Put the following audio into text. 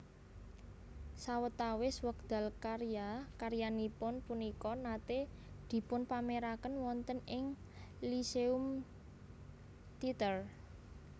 Sawetawis wekdal karya karyanipun punika naté dipunpaméraken wonten ing Lyceum Theatre